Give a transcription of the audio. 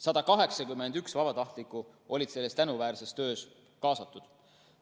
181 vabatahtlikku olid sellesse tänuväärsesse töösse kaasatud.